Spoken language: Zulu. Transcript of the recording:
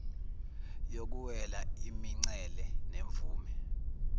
yokuwela imincele nemvume